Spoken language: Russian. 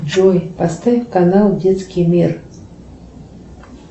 джой поставь канал детский мир